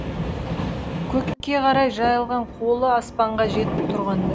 көкке қарай жайылған қолы аспанға жетіп тұрғандай